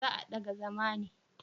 Za a daga zama ne?